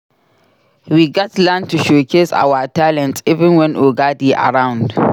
We gats learn to showcase our talents even wen oga dey around.